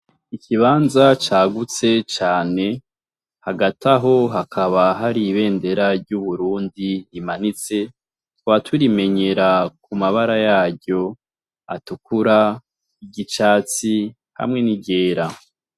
Ikibanza cagutse cane hagati aho hakaba hari ibendera ry’uburundi rimanitse tukaba turimenyera kumabara yaryo atukura, iry’icatsi hamwe n'iryera.